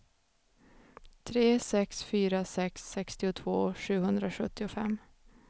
tre sex fyra sex sextiotvå sjuhundrasjuttiofem